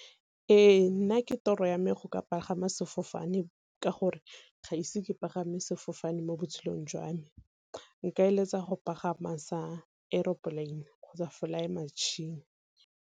Ee, nna ke toro ya me go ka pagama sefofane, ka gore ga ise ke pagama sefofane mo botshelong jwa me. Nka eletsa go pagama sa aeroplane kgotsa fly machine.